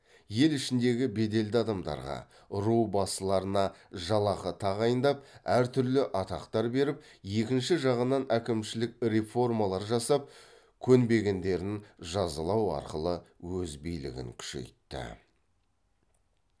ел ішіндегі беделді адамдарға ру басыларына жалақы тағайындап әр түрлі атақтар беріп екінші жағынан әкімшілік реформалар жасап көнбегендерін жазалау арқылы өз билігін күшейтті